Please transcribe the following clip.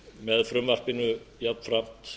með frumvarpinu jafnframt